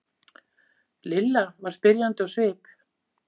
Lilla var spyrjandi á svip.